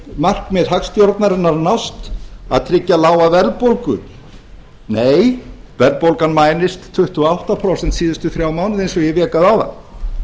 markmið hagstjórnarinnar að nást að tryggja lága verðbólgu nei verðbólgan mælist tuttugu og átta prósent síðustu þrjá mánuði eins og ég vék að áðan